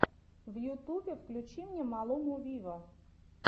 в ютубе включи мне малуму виво